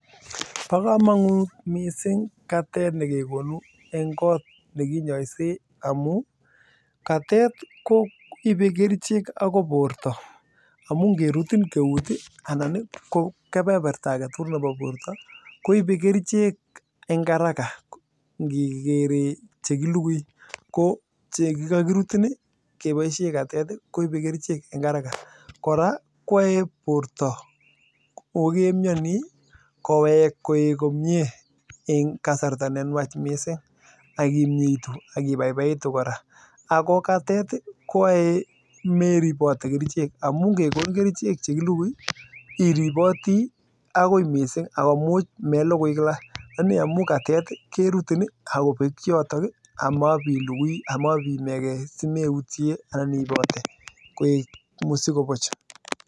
Boo komonut missing katet nekekonuu eng kot nekinyosee amuu katet koibee kerichek akoi borto amuu ngerutin keut ii anan ko kepeperta akee tugul neboo eut ii koibee kerichek eng haraka akimnyeitu eng kasarta nee nwach ako koraa meribotii kerichek akoi amuu katet kobekuu eng nyotok